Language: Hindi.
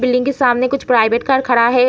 बिल्डिंग के सामने कुछ प्राइवेट कार खड़ा है।